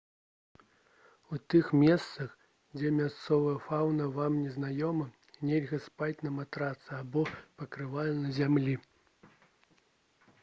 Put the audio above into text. у тых месцах дзе мясцовая фаўна вам не знаёма нельга спаць на матрацы або пакрывале на зямлі